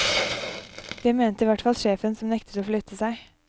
Det mente hvertfall sjefen som nektet å flytte seg.